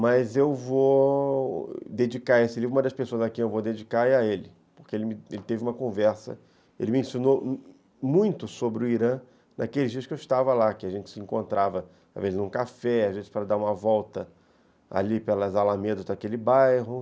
Mas eu vou dedicar esse livro, uma das pessoas a quem eu vou dedicar é a ele, porque ele teve uma conversa, ele me ensinou muito sobre o Irã naqueles dias que eu estava lá, que a gente se encontrava, às vezes num café, às vezes para dar uma volta ali pelas alamedas daquele bairro.